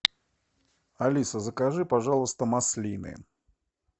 алиса закажи пожалуйста маслины